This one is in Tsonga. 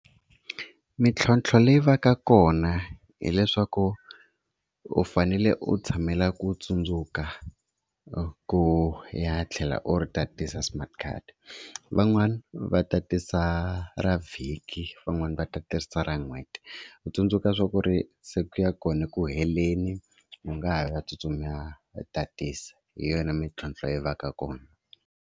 Mintlhontlho leyi va ka kona hileswaku u fanele ku tshamela ku tsundzuka ku ya tlhela u ri tatisa smart card. Van'wani va ta tisa ra vhiki van'wani va ta tisa ra n'hweti ku tsundzuka swa ku ri se ku ya kona eku heleni u nga ha va tsutsuma u tatisa hi yona mintlhontlho leyi va ka kona.